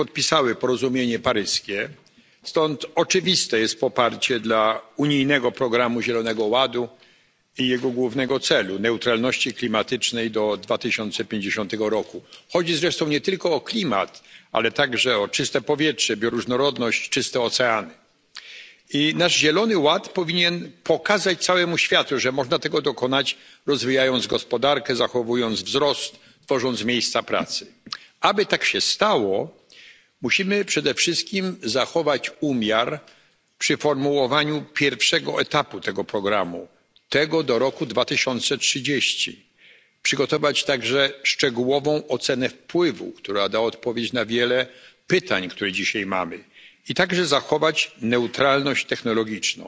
Pani Przewodnicząca! Panie Wiceprzewodniczący! Wszystkie państwa Unii Europejskiej podpisały porozumienie paryskie, stąd oczywiste jest poparcie dla unijnego programu zielonego ładu i jego głównego celu neutralności klimatycznej do 2050 roku. Chodzi zresztą nie tylko o klimat, ale także o czyste powietrze, bioróżnorodność, czyste oceany. I nasz zielony ład powinien pokazać całemu światu, że można tego dokonać, rozwijając gospodarkę, zachowując wzrost, tworząc miejsca pracy. Aby tak się stało, musimy przede wszystkim zachować umiar przy formułowaniu pierwszego etapu tego programu przygotować także szczegółową ocenę wpływu, która da odpowiedź na wiele pytań, które dzisiaj mamy, i także zachować neutralność technologiczną,